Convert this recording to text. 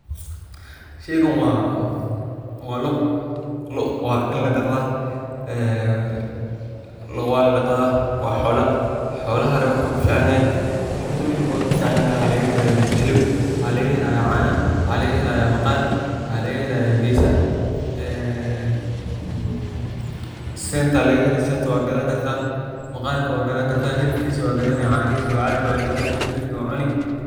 Sheygan waa loo, loo waini ladaqdhaa, ee loo waa ladaqdhaa, waa xola xolaha wuxuu kuficanyahay, horta miida kowad u kuficanyahay waa hiliib, waxaa laga helaya cana, waxaa laga helayaa maqar, waxaa laga helayaa gesa, ee senta aya laga heli, senta waa gadhani kartaa, maqarka waa gadhan kartaa, hilibkisa waa gadhani kartaa, canihisa waa cabi waa gadhani, hilibka waa cuni.